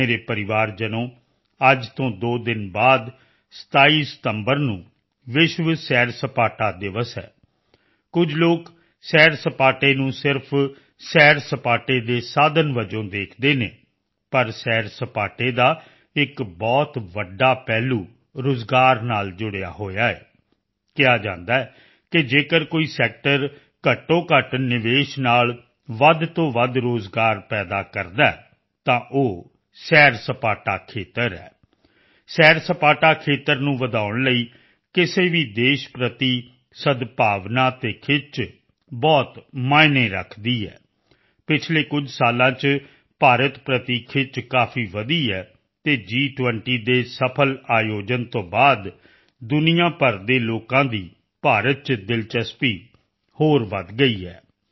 ਮੇਰੇ ਪਰਿਵਾਰਜਨੋ ਅੱਜ ਤੋਂ ਦੋ ਦਿਨ ਬਾਅਦ 27 ਸਤੰਬਰ ਨੂੰ ਵਿਸ਼ਵ ਸੈਰਸਪਾਟਾ ਦਿਵਸ ਹੈ ਕੁਝ ਲੋਕ ਸੈਰਸਪਾਟੇ ਨੂੰ ਸਿਰਫ਼ ਸੈਰਸਪਾਟੇ ਦੇ ਸਾਧਨ ਵਜੋਂ ਦੇਖਦੇ ਹਨ ਪਰ ਸੈਰਸਪਾਟੇ ਦਾ ਇੱਕ ਬਹੁਤ ਵੱਡਾ ਪਹਿਲੂ ਰੋਜ਼ਗਾਰ ਨਾਲ ਜੁੜਿਆ ਹੋਇਆ ਹੈ ਕਿਹਾ ਜਾਂਦਾ ਹੈ ਕਿ ਜੇਕਰ ਕੋਈ ਸੈਕਟਰ ਘੱਟੋਘੱਟ ਨਿਵੇਸ਼ ਨਾਲ ਵੱਧ ਤੋਂ ਵੱਧ ਰੋਜ਼ਗਾਰ ਪੈਦਾ ਕਰਦਾ ਹੈ ਤਾਂ ਉਹ ਸੈਰਸਪਾਟਾ ਖੇਤਰ ਹੈ ਸੈਰਸਪਾਟਾ ਖੇਤਰ ਨੂੰ ਵਧਾਉਣ ਲਈ ਕਿਸੇ ਵੀ ਦੇਸ਼ ਪ੍ਰਤੀ ਸਦਭਾਵਨਾ ਅਤੇ ਖਿੱਚ ਬਹੁਤ ਮਾਇਨੇ ਰੱਖਦੀ ਹੈ ਪਿਛਲੇ ਕੁਝ ਸਾਲਾਂ ਚ ਭਾਰਤ ਪ੍ਰਤੀ ਖਿੱਚ ਕਾਫੀ ਵਧੀ ਹੈ ਅਤੇ ਜੀ20 ਦੇ ਸਫਲ ਆਯੋਜਨ ਤੋਂ ਬਾਅਦ ਦੁਨੀਆ ਭਰ ਦੇ ਲੋਕਾਂ ਦੀ ਭਾਰਤ ਚ ਦਿਲਚਸਪੀ ਹੋਰ ਵਧ ਗਈ ਹੈ